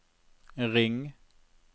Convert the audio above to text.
ring